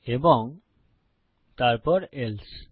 এবং তারপর এলসে